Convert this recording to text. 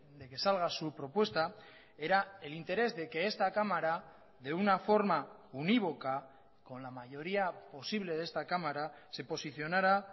de que salga su propuesta era el interés de que esta cámara de una forma unívoca con la mayoría posible de esta cámara se posicionara